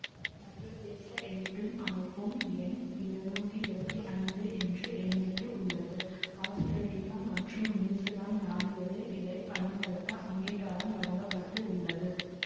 சர்வதேச எண்ணிடும் அமைப்பும் எண் இருநூத்தி இருவத்தி ஐந்து என்று எண்ணிட்டுள்ளது ஆசுத்திரேலியா மற்றும் நியூசிலாந்து நாடுகளில் இதை பயன்படுத்த அங்கீகாரம் வழங்க பட்டுள்ளது